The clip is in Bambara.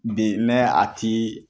Bi mɛ a ti